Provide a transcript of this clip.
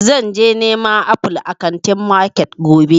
Zan je neman aful a wunti market gobe